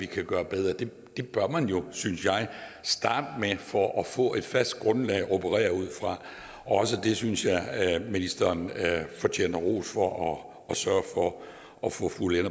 kan gøre bedre det bør man jo synes jeg starte med for at få et fast grundlag at operere ud fra også det synes jeg at ministeren fortjener ros for at sørge for at få fuldendt